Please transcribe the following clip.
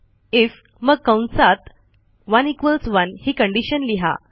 if मग कंसात 1 equals 1 ही कंडिशन लिहा